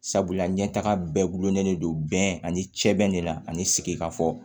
Sabula ɲɛtaga bɛɛ gulonnen do bɛn ani sɛbɛn de la ani sigikafɔ